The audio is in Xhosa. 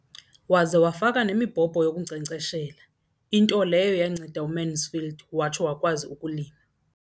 Waze wafaka nemibhobho yokunkcenkceshela, into leyo yanceda uMansfield watsho wakwazi ukulima.